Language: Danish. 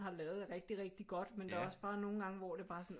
Har lavet er rigtig rigtig godt men der er også bare nogle gange hvor det bare er sådan